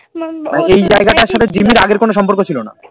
মানে এই জায়গাটার সাথে জিম্মির আগে কোনো সম্পর্ক ছিল না